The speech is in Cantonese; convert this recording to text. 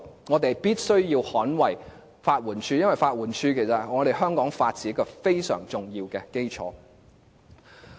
我們必須捍衞法援署，因為法援署是香港法治一個非常重要的基礎。